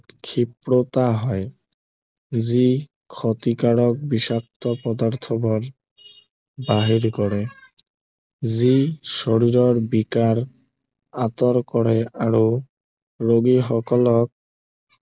ক্ষীপ্ৰতা আহে যি ক্ষতিকাৰক বিষাক্ত পদাৰ্থবোৰ বাহিৰ কৰে যি শৰীৰৰ বিকাৰ আঁতৰ কৰে আৰু ৰোগী সকলক